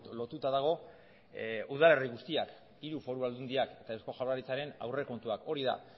lotuta dago udalerri guztiak hiru foru aldundiak eta eusko jaurlaritzaren aurrekontuak hori da